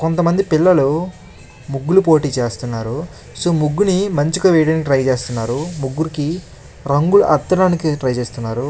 కొంత మంది పిల్లలు ముగ్గులు పోటి చేస్తున్నారు సో ముగ్గుని మంచిగా వేయడానికి ట్రై చేస్తున్నారు ముగ్గురుకి రంగులు అద్దడానికి ట్రై చేస్తున్నారు.